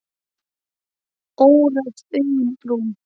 Óræð augun brún.